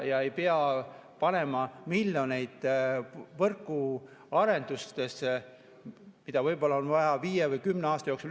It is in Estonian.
Ei pea panema miljoneid võrguarendustesse, mida võib-olla on vaja viie või kümne aasta jooksul.